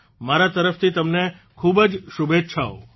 મારા તરફથી તમને ખૂબ જ શુભેચ્છાઓ